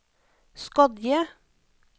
Skodje